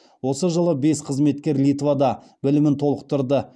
осы жылы бес қызметкер литвада білімін толықтырды